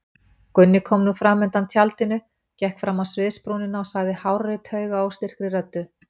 Gunni kom nú fram undan tjaldinu, gekk fram á sviðsbrúnina og sagði hárri taugaóstyrkri röddu.